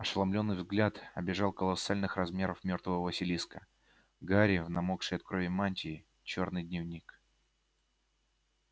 ошеломлённый взгляд обежал колоссальных размеров мёртвого василиска гарри в намокшей от крови мантии чёрный дневник